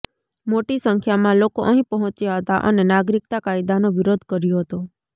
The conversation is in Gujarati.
મોટી સંખ્યામાં લોકો અહીં પહોંચ્યા હતા અને નાગરિકતા કાયદાનો વિરોધ કર્યો હતો